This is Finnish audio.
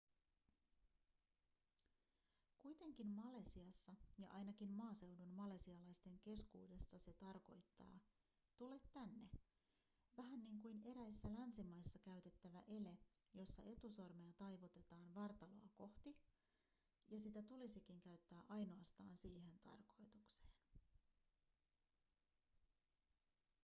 kuitenkin malesiassa ja ainakin maaseudun malesialaisten keskuudessa se tarkoittaa tule tänne vähän niin kuin eräissä länsimaissa käytettävä ele jossa etusormea taivutetaan vartaloa kohti ja sitä tulisikin käyttää ainoastaan siihen tarkoitukseen